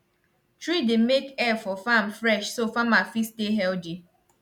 tree dey make air for farm fresh so farmer fit stay healthy